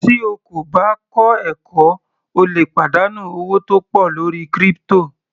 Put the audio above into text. Tí o kò bá kọ́ ẹ̀kọ́ o lè pàdánù owó tó pọ̀ lórí crypto.